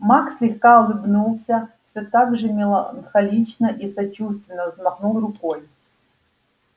маг слегка улыбнулся всё так же меланхолично и сочувственно взмахнул рукой